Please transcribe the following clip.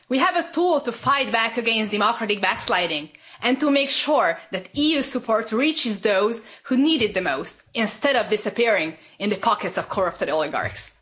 We have a tool to fight back against democracy backsliding and to make sure that EU support reaches those who need it the most, instead of disappearing into the pockets of corrupt oligarchs.